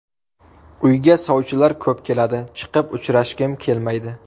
Uyga sovchilar ko‘p keladi, chiqib uchrashgim kelmaydi.